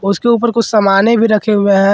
इसके ऊपर कुछ समाने भी रखे हुए हैं।